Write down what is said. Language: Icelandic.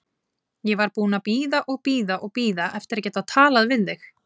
Ég var búin að bíða og bíða og bíða eftir að geta talað við þig.